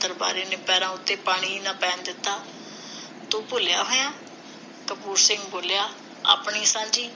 ਦਰਬਾਰੇ ਨੇ ਪੈਰਾਂ ਉਤੇ ਪਾਣੀ ਹੀ ਨਾ ਪੈਣ ਦਿੱਤਾ। ਤੂੰ ਭੁਲਿਆ ਹੋਇਐਂ। ਕਪੂਰ ਸਿੰਘ ਬੋਲਿਆ, ਆਪਣੀ, ਸਾਂਝੀ!